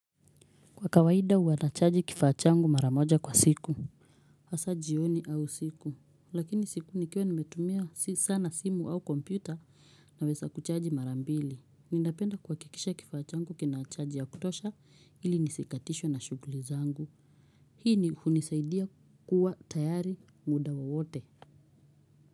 Kwa kawaida huwa nachaji kifaa changu mara moja kwa siku. Hasa jioni au siku. Lakini siku nikiwa nimetumia sana simu au kompyuta naweza kuchaji mara mbili. Ninapenda kuhakikisha kifaa changu kina chaji ya kutosha ili nisikatishwe na shughuli zangu. Hii ni kunisaidia kuwa tayari muda wowote.